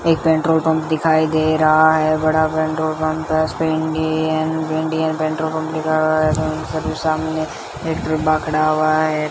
एक petrol pump दिखाई दे रहा है बड़ा पेट्रोल पंप है उस पे इंडियन इंडियन पेट्रोल पंप लिखा हुआ है और सामने एक डिब्बा खड़ा हुआ है।